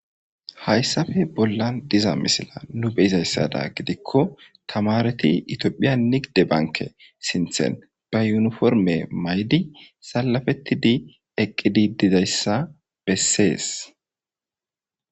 Hayssappe bollan diiza miisila nu bessizaysada gidikko tamareti itophphiya niggide banke sinththan be yuniporme mayidi salapetidi eqqidi dizayssa besses.